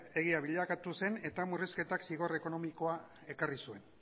egia bilakatu zen eta murrizketak zigor ekonomikoa ekarri zuen